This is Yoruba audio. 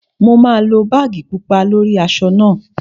Mo máa lo báàgì pupa lórí aṣọ náà